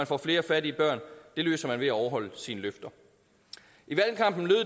får flere fattige børn det løser man ved at overholde sine løfter